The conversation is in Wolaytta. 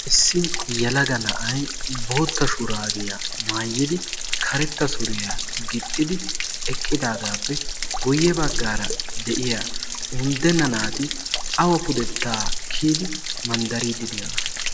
issi yalaga na'ay bootta shuraabiyaa maayidi karetta suriyaa gixxidi eqqidaagaappe guyye baggaara de'iya unddenna naati awa pudettaa kiyidi manddariiddi de'ona